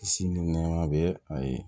Si ni nɛma bɛ a ye